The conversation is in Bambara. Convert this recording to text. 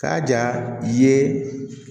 K'a ja ye